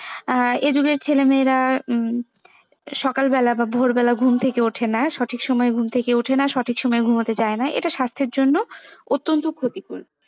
আহ educate ছেলে মেয়েরা সকাল বেলা বা ভোরবেলা ঘুম থেকে ওঠে না সঠিক সময়ে ঘুম থেকে ওঠে না সঠিক সময়ে ঘুমোতে যায়না এটা স্বাস্থ্যের জন্য অত্যন্ত ক্ষতিকর।